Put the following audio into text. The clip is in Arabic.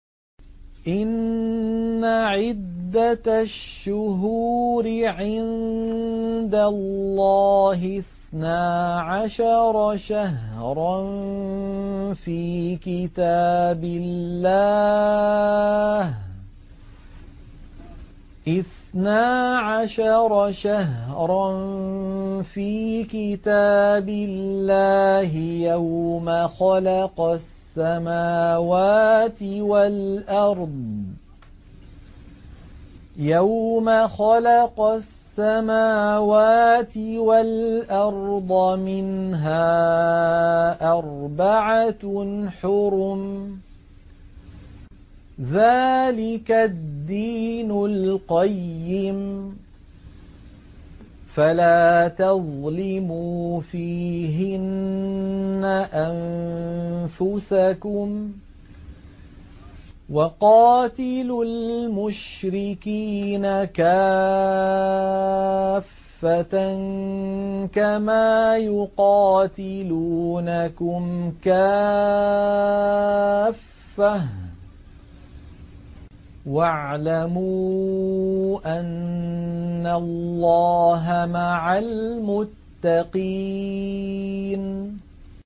إِنَّ عِدَّةَ الشُّهُورِ عِندَ اللَّهِ اثْنَا عَشَرَ شَهْرًا فِي كِتَابِ اللَّهِ يَوْمَ خَلَقَ السَّمَاوَاتِ وَالْأَرْضَ مِنْهَا أَرْبَعَةٌ حُرُمٌ ۚ ذَٰلِكَ الدِّينُ الْقَيِّمُ ۚ فَلَا تَظْلِمُوا فِيهِنَّ أَنفُسَكُمْ ۚ وَقَاتِلُوا الْمُشْرِكِينَ كَافَّةً كَمَا يُقَاتِلُونَكُمْ كَافَّةً ۚ وَاعْلَمُوا أَنَّ اللَّهَ مَعَ الْمُتَّقِينَ